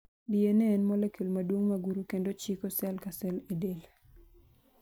DNA' en 'molecule' maduong' ma guro kendo chiko sel ka sel e del